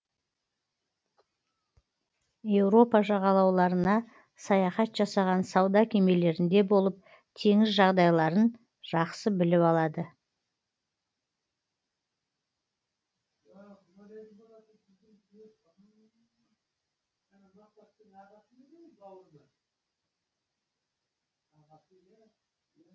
еуропа жағалауларына саяхат жасаған сауда кемелерінде болып теңіз жағдайларын жақсы біліп алады